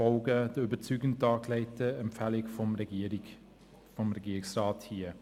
Wir folgen den überzeugend dargelegten Empfehlungen des Regierungsrats.